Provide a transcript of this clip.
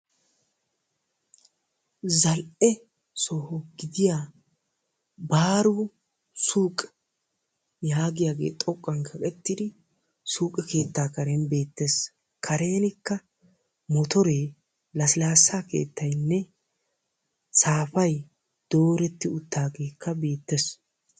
Zal'ee soho gidiya baaro suuq yagiyage xoqqan kaqettidi suuqee keettaa karen betees. Karenikka motore lasilasa keettayne safay dooreti uttidage betees.